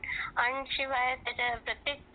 आणि शिवाय प्रत्येक